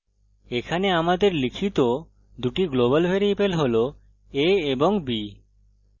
এখানে আমাদের লিখিত দুটি global ভ্যারিয়েবল হল a এবং b